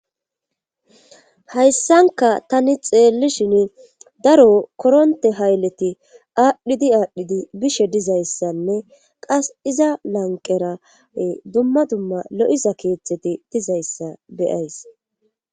hayssankka tani xeellishini daro koronte hayleti aadhidi aadhidi bishe dizayssanne qas iza lanqqera ee dumma dumma lo7iza keethati dizayssa be7ays.